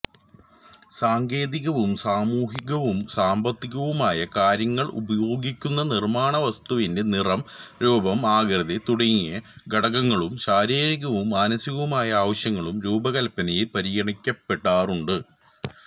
സാങ്കേതികവും സാമൂഹികവും സാമ്പത്തികവുമായ കാര്യങ്ങളുംഉപയോഗിക്കുന്ന നിർമ്മാണവസ്തുവിന്റെ നിറം രൂപം ആകൃതി തുടങ്ങിയ ഘടകങ്ങളും ശാരീരികവും മാനസികവുമായ ആവശ്യങ്ങളും രൂപകല്പനയിൽ പരിഗണിക്കപ്പെടാറുണ്ട്